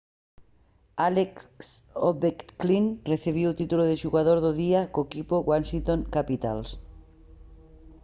alex ovechkin recibiu o título de xogador do día co equipo washington capitals